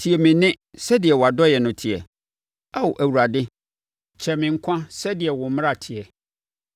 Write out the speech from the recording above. Tie me nne sɛdeɛ wʼadɔeɛ no teɛ; Ao Awurade, kyɛe me nkwa so sɛdeɛ wo mmara teɛ.